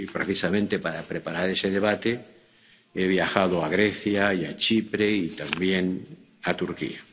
Y precisamente para preparar ese debate, he viajado a Grecia y a Chipre y también a Turquía.